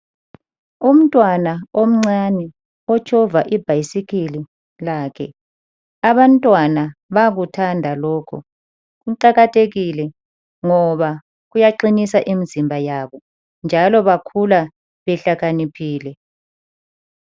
Umntwana omncane otshova ibhasikili lakhe abantwana bakuthanda lokhu kuqakathekile ngoba kuyaqinisa imzimba yabo njalo bakhula behlakaniphile.